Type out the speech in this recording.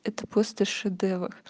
это просто шедевр